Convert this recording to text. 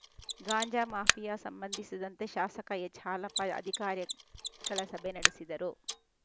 ಗಾಂಜಾ mafia ಸಂಬಂಧಿಸಿದಂತೆ ಶಾಸಕ ಎಚ್‌ಹಾಲಪ್ಪ ಅಧಿಕಾರಿಗಳ ಸಭೆ ನಡೆಸಿದರು